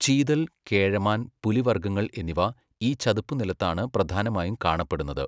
ചീതൽ, കേഴമാൻ, പുലിവർഗ്ഗങ്ങൾ എന്നിവ ഈ ചതുപ്പുനിലത്താണ് പ്രധാനമായും കാണപ്പെടുന്നത്.